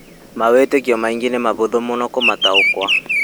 Mawĩtĩkio mangĩ nĩ mahũthũ mũno kũmataũkwo